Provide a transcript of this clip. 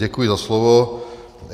Děkuji za slovo.